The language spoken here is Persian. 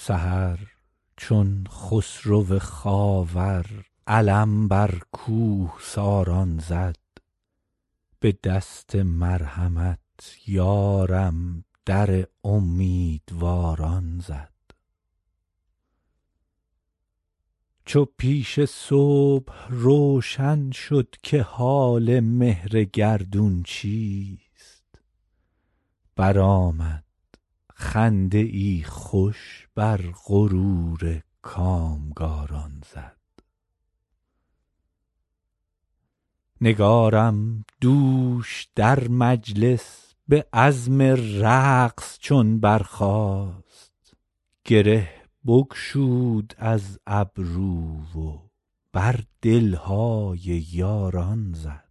سحر چون خسرو خاور علم بر کوهساران زد به دست مرحمت یارم در امیدواران زد چو پیش صبح روشن شد که حال مهر گردون چیست برآمد خنده ای خوش بر غرور کامگاران زد نگارم دوش در مجلس به عزم رقص چون برخاست گره بگشود از گیسو و بر دل های یاران زد